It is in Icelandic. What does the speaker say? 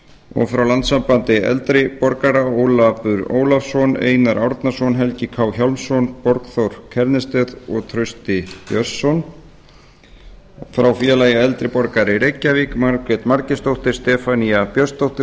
og frá landssambandi eldri borgara ólafur ólafsson einar árnason helgi k hjálmsson borgþór st kjærnested og trausti björnsson frá félagi eldri borgara í reykjavík margrét margeirsdóttir stefanía björnsdóttir